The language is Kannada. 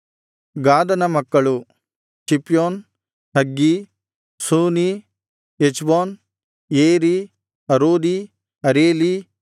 ಗಾದನ ಮಕ್ಕಳು ಚಿಪ್ಯೋನ್ ಹಗ್ಗೀ ಶೂನೀ ಎಚ್ಬೋನ್ ಏರೀ ಅರೋದೀ ಅರೇಲೀ